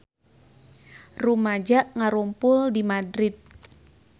Rumaja ngarumpul di Madrid